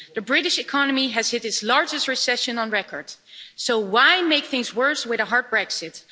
The British economy has hit its largest recession on record. So why make things worse with a hard Brexit?